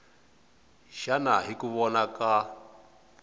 xana hi ku vona ka